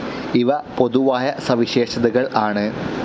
ഇവ പൊതുവായ സവിശേഷതകൾ ആണ്.